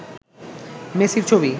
মেসির ছবি